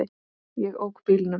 Ég ók bílnum.